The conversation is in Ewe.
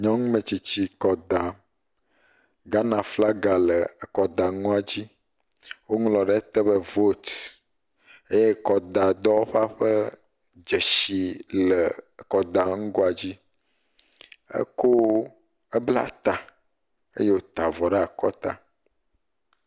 Nyɔnu metsitsi kɔ dam, Ghana flaga le ekɔ da ŋua dzi, wo ŋlɔ ɖe te be vote eye kɔda dɔwɔƒa ƒe dzeshi le kɔ ta ŋugoa dzi, ebla ta eye wota avɔ ɖe akɔ ta.